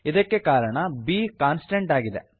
ಇದಕ್ಕೆ ಕಾರಣ b constant ಆಗಿದೆ